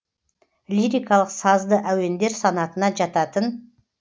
лирикалық сазды әуендер санатына жататын